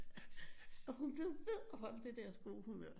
Og hun blev ved at holde det der gode humør